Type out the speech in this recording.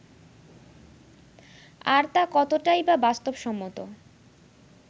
আর তা কতটাই বা বাস্তবসম্মত